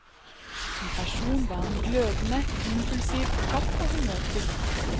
Som person var han glødende, impulsiv, kjapp og humørfylt.